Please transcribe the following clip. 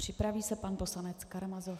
Připraví se pan poslanec Karamazov.